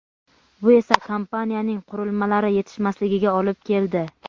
bu esa kompaniyaning qurilmalari yetishmasligiga olib keldi.